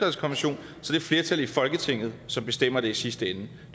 flertal i folketinget som bestemmer det i sidste ende det